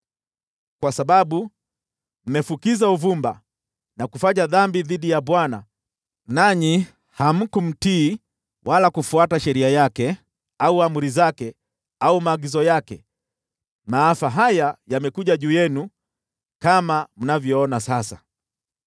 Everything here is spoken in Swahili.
Kwa sababu mmefukiza uvumba na kufanya dhambi dhidi ya Bwana , nanyi hamkumtii wala kufuata sheria yake au amri zake au maagizo yake, maafa haya yamekuja juu yenu, kama mnavyoona sasa.”